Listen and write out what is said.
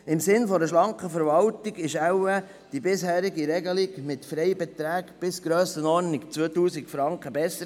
Im Sinne einer schlanken Verwaltung war die bisherige Regelung für Freibeträge bis ungefähr 2000 Franken viel besser.